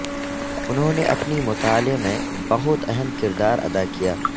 انہوں نے اپنی مطالعہ میں بہت اہم کردار ادا کیا